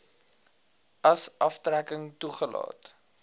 as aftrekking toegelaat